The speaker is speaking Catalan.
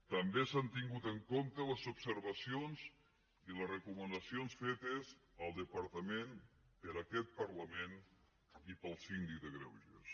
també s’han tingut en compte les observacions i les recomanacions fetes al departament per aquest parlament i pel síndic de greuges